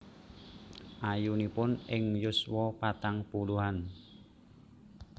Ayunipun ing yuswa patang puluhan